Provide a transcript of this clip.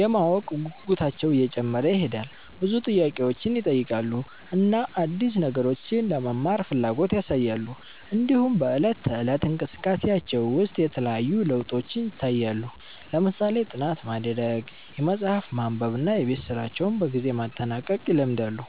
የማወቅ ጉጉታቸውም እየጨመረ ይሄዳል፣ ብዙ ጥያቄዎችን ይጠይቃሉ እና አዲስ ነገሮችን ለመማር ፍላጎት ያሳያሉ። እንዲሁም በዕለት ተዕለት እንቅስቃሴያቸው ውስጥ የተለያዩ ለውጦች ይታያሉ፣ ለምሳሌ ጥናት ማድረግ፣ መጽሐፍ ማንበብ እና የቤት ስራቸውን በጊዜ ማጠናቀቅ ይለምዳሉ።